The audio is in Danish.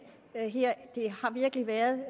her det har virkelig været